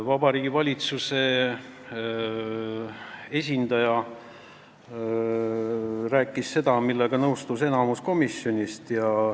Vabariigi Valitsuse esindaja rääkis seda, millega nõustus enamus komisjoni liikmeid.